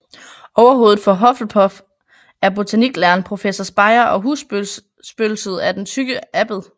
Overhovedet for Hufflepuff er botaniklæreren Professor Spire og husspøgelset er Den Tykke Abbed